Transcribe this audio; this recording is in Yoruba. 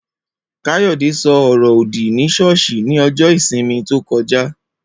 Kayode ṣo ọrọ òdì ni ṣọ́ọ̀ṣì ní ọjọ́ ìsinmi tókojá.